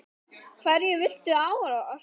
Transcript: Hverju viltu áorka?